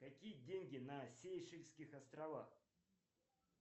какие деньги на сейшельских островах